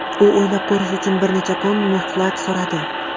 U o‘ylab ko‘rish uchun bir necha kun muhlat so‘radi.